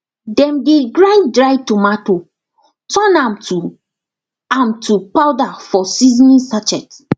dem dey grind dry tomato turn am to am to powder for seasoning sachet